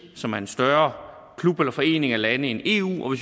som er en større klub eller forening af lande end eu og